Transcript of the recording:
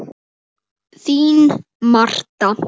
Þín Marta.